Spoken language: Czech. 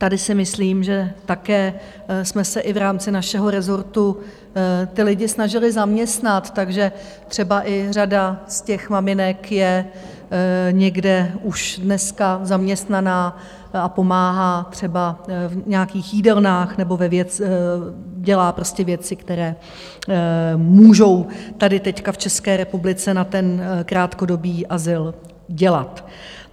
Tady si myslím, že také jsme se i v rámci našeho rezortu ty lidi snažili zaměstnat, takže třeba i řada z těch maminek je někde už dneska zaměstnaná a pomáhá třeba v nějakých jídelnách nebo dělá prostě věci, které můžou tady teď v České republice na ten krátkodobý azyl dělat.